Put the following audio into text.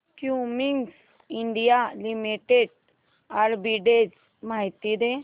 Cummins India limited arbitrage माहिती दे